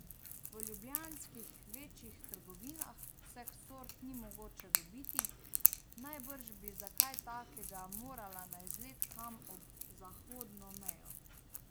V ljubljanskih večjih trgovinah vseh sort ni mogoče dobiti, najbrž bi za kaj takega morala na izlet kam ob zahodno mejo.